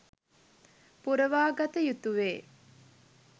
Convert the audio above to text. පුරවා ගත යුතුවේ.